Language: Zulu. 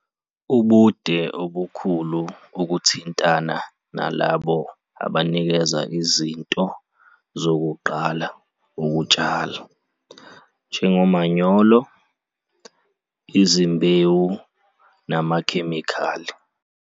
Ubude obukhulu ukuthintana nalabo abanikeza izinto zokuqala ukutshala, njengomanyolo, izimbewu namakhemikheli.